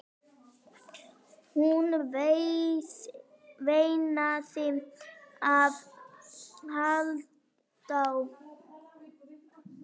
Hún veinaði af hlátri.